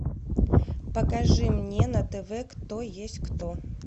покажи мне на тв кто есть кто